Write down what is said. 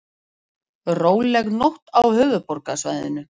Róleg nótt á höfuðborgarsvæðinu